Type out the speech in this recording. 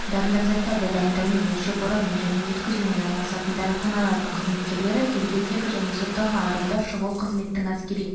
дәрілік заттарды дайындаумен өлшеп-ораумен және өткізумен айналысатын дәріханалардың қызметкерлері тергеудегі және сотталған адамдар шұғыл қызметтің әскери